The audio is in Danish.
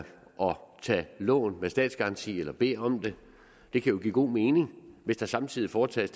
tage lån med statsgaranti eller bede om det det kan jo give god mening hvis der samtidig foretages